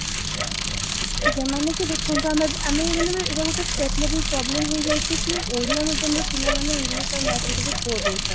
ଆଜ୍ଞା ମାନେ କି ଦେଖନ୍ତୁ ଆମେ ଏବେ ଏଟା ଗୋଟେ state level problem ହେଇଯାଇଛି କି ଓଡିଆ medium ର ପିଲା ମାନେ English ଆଉ math ରେ ଟିକେ poor ରହୁଛନ୍ତି